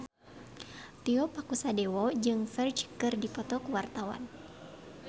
Tio Pakusadewo jeung Ferdge keur dipoto ku wartawan